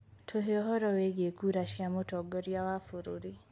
tuhe ũhoro wĩĩgĩe kura cĩa mutongoria wa bururi